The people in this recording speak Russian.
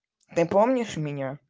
ты помнишь меня